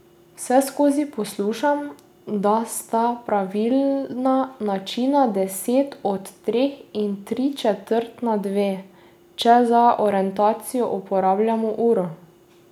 Vseskozi poslušam, da sta pravilna načina deset do treh in tri četrt na dve, če za orientacijo uporabljamo uro.